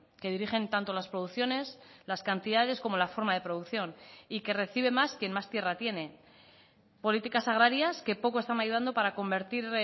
que dirigen tanto las producciones las cantidades como la forma de producción y que recibe más quien más tierra tiene políticas agrarias que poco están ayudando para convertir